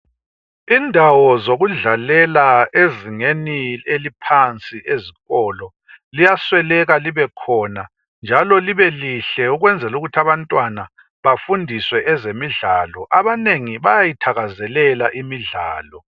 Indawo zokudlalela ezingeni eliphansi, ezikolo, liyasweleka libekhona, njalo libe lihle! Ukunzela ukuthi abantwana bafundiswe ezemidlalo. Abanengi bayayithakazelela imidlalo.